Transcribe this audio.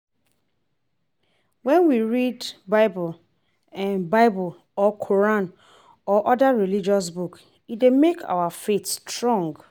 When we read bible bible or Quran or oda religious books e dey make our faith strong